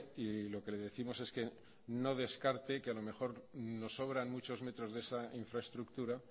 y lo que le décimos es que no descarte que a lo mejor nos sobran muchos metros de esa infraestructura